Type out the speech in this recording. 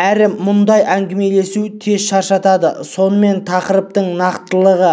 әрі мұндай әңгімелесу тез шаршатады сонымен тақырыптың нақтылығы